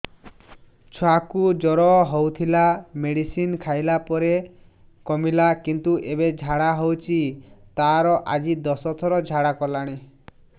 ଛୁଆ କୁ ଜର ହଉଥିଲା ମେଡିସିନ ଖାଇଲା ପରେ କମିଲା କିନ୍ତୁ ଏବେ ଝାଡା ହଉଚି ତାର ଆଜି ଦଶ ଥର ଝାଡା କଲାଣି